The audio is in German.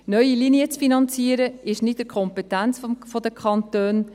Neue Linien zu finanzieren, ist nicht in der Kompetenz der Kantone.